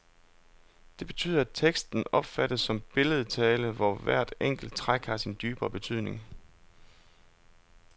Det betyder, at teksten opfattes som billedtale, hvor hvert enkelt træk har sin dybere betydning.